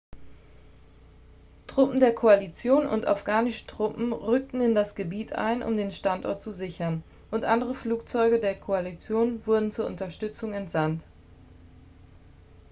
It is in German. truppen der koalition und afghanische truppen rückten in das gebiet ein um den standort zu sichern und andere flugzeuge der koalition wurden zur unterstützung entsandt